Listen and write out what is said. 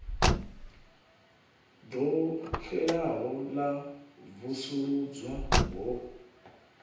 ḓo xelaho ḽa vusuludzwa ho